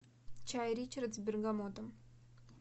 чай ричард с бергамотом